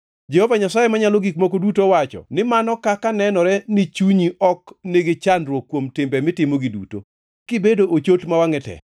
“ ‘Jehova Nyasaye Manyalo Gik Moko Duto owacho ni mano kaka nenore ni chunyi ok nigi chandruok kuom timbe mitimogi duto, kibedo ochot ma wangʼe tek!